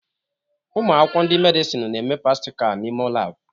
Ụmụ akwụkwọ ndị Medịsinu na-eme pastika n'ime laabụ